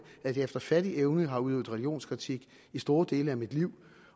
at jeg efter fattig evne har udøvet religionskritik i store dele af mit liv